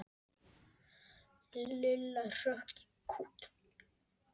Lilla hrökk í kút.